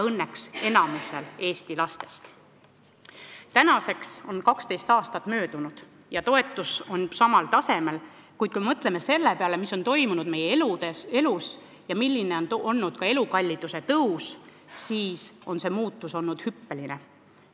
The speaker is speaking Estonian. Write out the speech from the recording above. Tänaseks on 12 aastat möödunud ja toetus on samal tasemel, kuid mõtleme selle peale, mis on toimunud meie elus ja milline on olnud elukalliduse tõus – see muutus on olnud hüppeline.